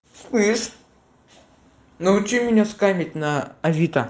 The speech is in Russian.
слышишь научи меня сканировать на авито